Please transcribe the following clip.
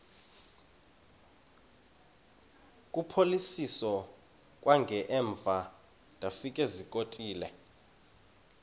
kuphosiliso kwangaemva ndafikezizikotile